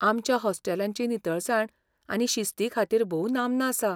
आमच्या हॉस्टेलांची नितळसाण आनी शिस्ती खातीर भोव नामना आसा.